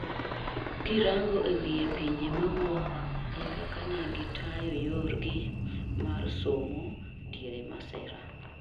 krango e wiye pinje mawuok e kaka ne gitayo yor gi mar somo diere masira